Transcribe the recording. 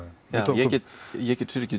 ég get ég get